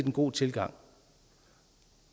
en god tilgang